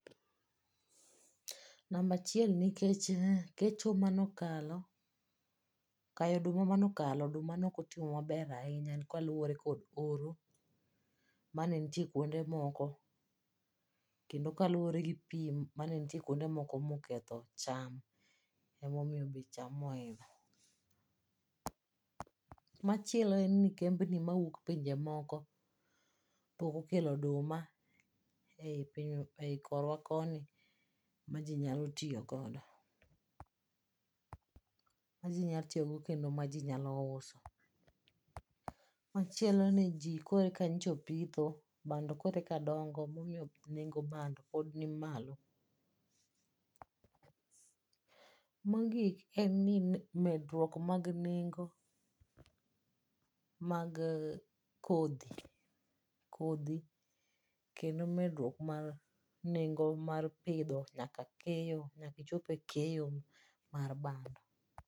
Namba achiel nikech kecho mano kalo, kayo oduma ne ok otimo mabr ahinya kaluwore kod oro mane nitie kuonde moko kendo kaluwore gi pi mane nitie kuonde moko ma oketho bech cham oidho. Machielo en ni kemb ni mawuok pinje moko pok okelo oduma ei korwa koni maji nmyalo tiyo godo. Maji nyalo tiyo godo kendo maji nyalo uso. Machielo ni ji koka nyocha opitho bando koro eka dongo emomiyo nengo bando pod ni malo. Mogik en ni medruok mag nengo mag kodhi, kodhi kendo medruok mar nengo mar pidho nyaka keyo nyaka ichop e keyo mar bando.